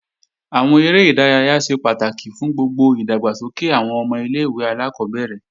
Àwọn eré ìdárayá ṣe pàtàkì fún gbogbo ìdàgbàsókè àwọn ọmọ ilé-ìwé alákọ́bẹ̀rẹ̀